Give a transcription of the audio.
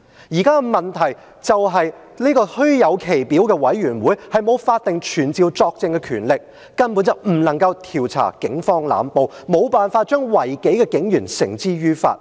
現在的問題是，這個虛有其表的委員會，沒有法定傳召作證的權力，根本不能夠調查警方濫暴，沒有辦法將違紀的警員繩之於法。